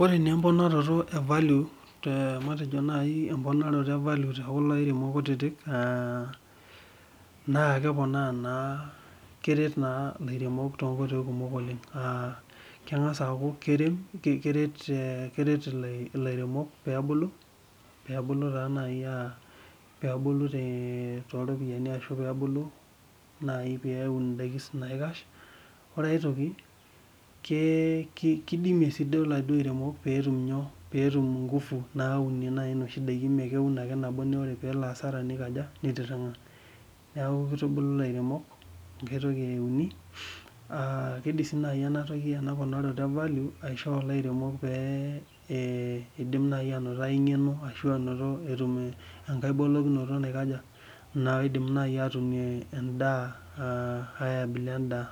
Ore naa emponoto evalue tekulo airemok kutitik na keponaa keret lairemok tonkoitoi kumok oleng kengasa aaku keret ilaremok pebulu nai pebulu toropiyani ashu pebulu peun mdakin naikash kidimie si lairemok petum nkufu naumie ndakin ore pelo asara nitiringa neaku kitubulu lairemok peidim nai ainoto engeno ashu etum enkae boloto naiko aja naidim nai atumie aai abila endaa